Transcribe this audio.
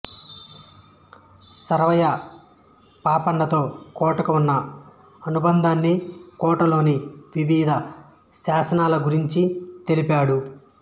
సర్వాయి పాపన్నతో కోటకు ఉన్న అనుబంధాన్ని కోటలోని వివిధ శాసనాల గురించి తెలిపాడు